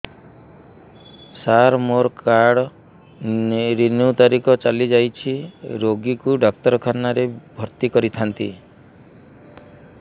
ସାର ମୋର card renew ତାରିଖ ଚାଲି ଯାଇଛି ରୋଗୀକୁ ଡାକ୍ତରଖାନା ରେ ଭର୍ତି କରିଥାନ୍ତି